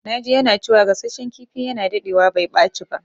Na ji yana cewa gasashen kifi yana dadewa bai ɓaci ba.